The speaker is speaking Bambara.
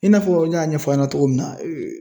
I n'a fɔ ne y'a ɲɛfɔ aw ɲɛna cogo min na.